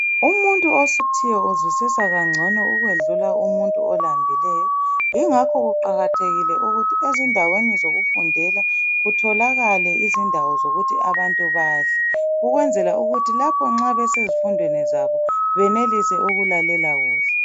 Umuntu osuthiyo uzwisisa kangcono ukwedlula umuntu olambileyo yingakho kuqakathekile ukuthi ezindaweni zokufundela kutholakale indawo zokuthi abantu badle ukwenzela ukuthi lapho nxa besezifundweni zabo benelise ukulalela kuhle.